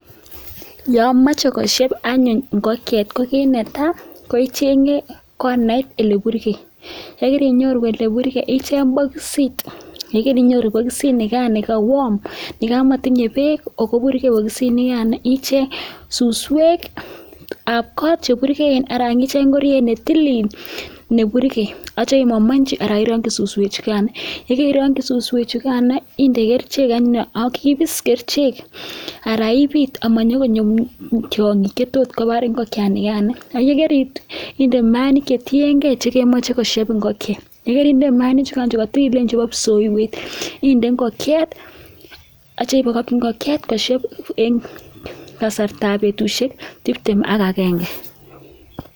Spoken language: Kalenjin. Yamache kosheb anyun ingokiet ko kit netai ichenge konait oleburgeiak yikainyoru oleburgei ichen bokisit ak yekaicheng bokisit ichenge olewarm yikamatinye bek oburgei orit en bokosit nikan akicheng suswek ab kot chemengechen anan ko ingoriet netilil neburgei akitya imamanchi ana irangi suswek chigan yekairangi suswek chugan inde kerchek anyun akeib kerchek ana ibit simanyo tiangik chetot kobar ingokietana yekarinde mayainik chetiyengei chekemache kosheb ingokiet yekarinde imainik chebo ibsioywet inde ingokiet akitya ibakaki ingokiet kosheb kasarta ab betishek tibtem akagenge